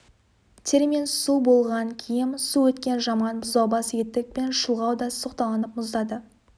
термен су болған киім су өткен жаман бұзаубас етік пен шұлғау да соқталанып мұздады